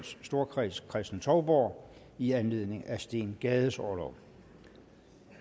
storkreds kristen touborg i anledning af steen gades orlov